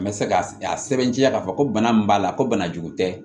N bɛ se ka sɛbɛntiya k'a fɔ ko bana min b'a la ko bana jugu tɛ